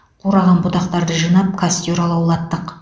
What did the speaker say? қураған бұтақтарды жинап костер алаулаттық